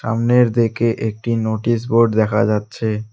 সামনের দিকে একটি নোটিশ বোর্ড দেখা যাচ্ছে।